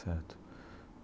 Certo.